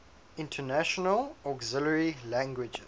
international auxiliary languages